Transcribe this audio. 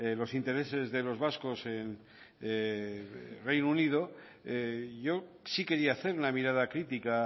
los intereses de los vascos en el reino unido yo sí quería hacer una mirada crítica